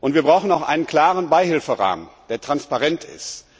Wir brauchen auch einen klaren Beihilferahmen, der transparent ist.